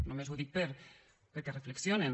només ho dic perquè reflexionen